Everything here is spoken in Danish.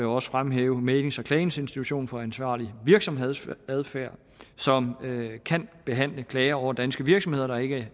også fremhæve mæglings og klageinstitutionen for ansvarlig virksomhedsadfærd som kan behandle klager over danske virksomheder der ikke